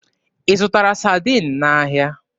Ị zụtara Sadiin n'ahịa?